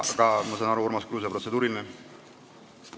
Aga ma saan aru, et Urmas Kruusel on protseduuriline küsimus.